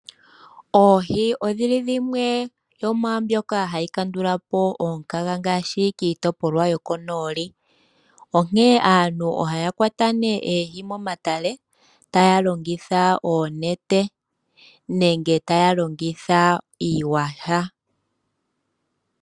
Oohi odhi li dhimwe yomwaambyoka hayi kandula po omukaga ngaashi kiitopolwa yomonooli, onkene aantu ohaya kwata nee oohi momatale, taya longitha oonete, nenge taya longitha iiyaha.